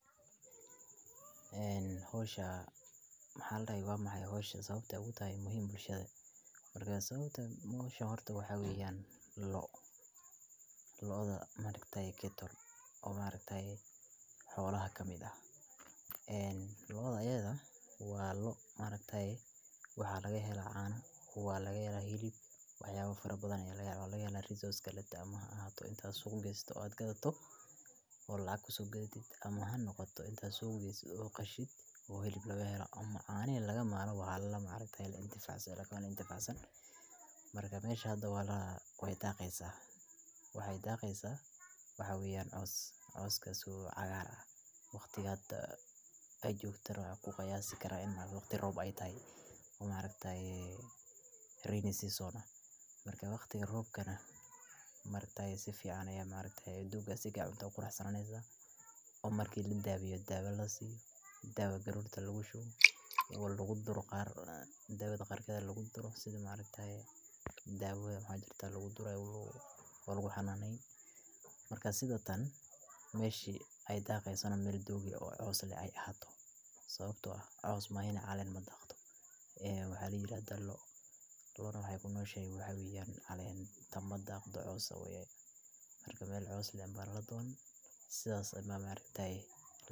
Haweney hoosha maxay hayso sababta awoodaha muhiim u shaqeeyaa, marka sababta hawsha horto waxa ugu yaan loo loo da maareyta keytay oo maareyta xoolaha ka mida. En la dayaal waa loo maareynta ay waxaa laga helaa caana kuwa laga helaa hilib waxyaabo farabadan ee lagala oga day resource ga letta ama ahaato inta soo geli dood gadato oo la kuso ogidida ama noqoto intaas oo qashid uu heli lagu helo ama caani laga maano waal la maareynta intifaacadeena intifaacin. Marka meeshadu waa la way taagi isaga waay daaqaysa waxa ugu yaraan caws. Caws kasoo cagaara waqtigaada ay joogtay aku kayasi kara in ma waqti roob ay taye umareyta rin sisooda. Marka waqti roobkana marka si fiican ayu maragtaa duubka sigaa minto qurux sananeysa oo markii dab iyo dab ilaa sii. Daba galuurta lagu shubo lagu duro qaar dawida qaarkood lagu durro sidan maareyta ah. Daba hajarta lagu dura welwaa xanahay. Markaan sidoo tan meeshii ay daaqaysan mil duubi oo caws leh ay hadlo. Sababtoo ah caws mahayna calaamada khadka ee xiriirka. Dallo loono hay gunnooshe. Way ugu yaraan calaamada daaqadda cawsa way mar kale caws le barado. Si wasi maamaareyta ah.